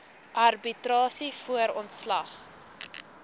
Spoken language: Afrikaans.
arbitrasie voor ontslag